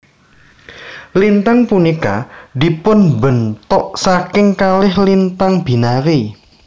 Lintang punika dipunbentuk saking kalih lintang binary